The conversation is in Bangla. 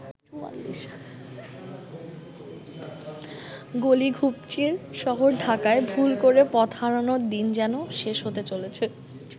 গলি-ঘুপচির শহর ঢাকায় ভুল করে পথহারানোর দিন যেন শেষ হতে চলেছে।